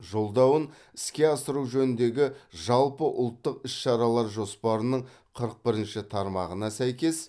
жолдауын іске асыру жөніндегі жалпыұлттық іс шаралар жоспарының қырық бірінші тармағына сәйкес